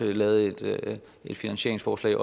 vi lavet et finansieringsforslag